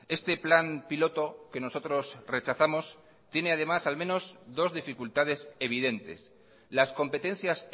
este plan piloto que nosotros rechazamos tiene además al menos dos dificultades evidentes las competencias